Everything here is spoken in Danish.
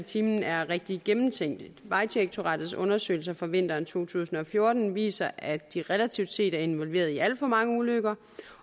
time er rigtig gennemtænkt vejdirektoratets undersøgelser fra vinteren to tusind og fjorten viser at de relativt set er involveret i alt for mange ulykker